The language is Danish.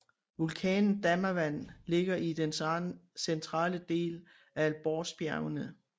Vulkanen Damavand ligger i den centrale del af Alborzbjergene